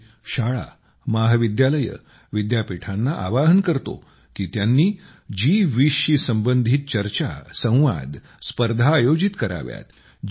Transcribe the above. मी शाळा महाविद्यालये विद्यापीठांना आवाहन करतो की त्यांनी जी20 शी संबंधित चर्चा संवाद स्पर्धा आयोजित कराव्यात